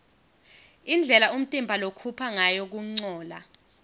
indlela umtimba lokhupha ngayo kuncola